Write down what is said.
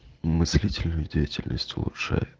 мыслительную деятельность улучшай